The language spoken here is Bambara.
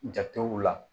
Jatew la